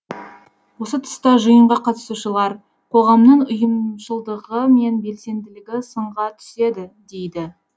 осы тұста жиынға қатысушылар қоғамның ұйымшылыдығы мен белсенділігі сынға түседі дейді